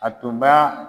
A tun b'a